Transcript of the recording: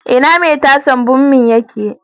Ina mai tasar bommin yake?